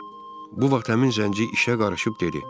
Bu vaxt həmin zənci işə qarışıb dedi: